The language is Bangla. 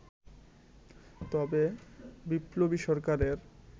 তবে বিপ্লবী সরকারের